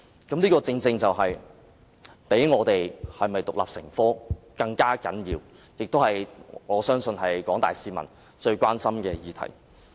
這正正比是否獨立成科更為重要，我相信這也是廣大市民最關心的議題。